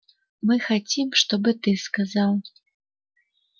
мы хотим чтобы ты сказал